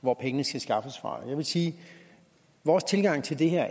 hvor pengene skal skaffes fra jeg vil sige at vores tilgang til det her